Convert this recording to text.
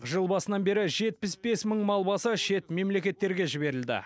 жыл басынан бері жетпіс бес мың мал басы шет мемлекеттерге жіберілді